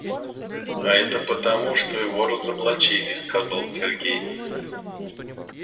а это потому что его разоблачили сказал сергей